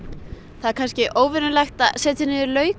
það er kannski óvenjulegt að setja niður